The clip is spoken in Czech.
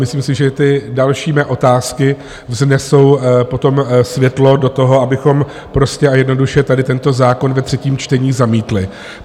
Myslím si, že ty další mé otázky vnesou potom světlo do toho, abychom prostě a jednoduše tady tento zákon ve třetím čtení zamítli.